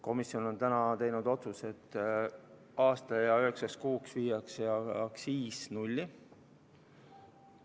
Komisjon on teinud otsuse, et aastaks ja üheksaks kuuks viiakse aktsiis nulli.